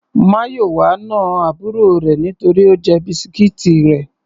Mayowa na àbúrò rẹ̀ nítorí Ó jẹ biscuits rẹ̀.